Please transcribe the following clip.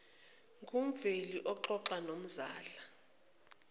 ngumveli uxoxa nomzala